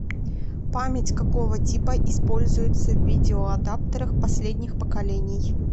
память какого типа используется в видеоадаптерах последних поколений